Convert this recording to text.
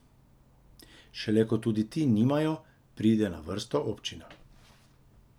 Šele ko tudi ti nimajo, pride na vrsto občina.